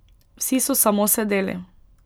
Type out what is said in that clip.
Vsi so samo sedeli.